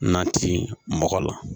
Na ti mɔgɔ la